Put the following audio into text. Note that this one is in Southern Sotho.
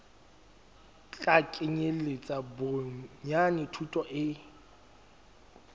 tla kenyeletsa bonyane thuto e